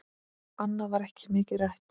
Annað var ekki mikið rætt.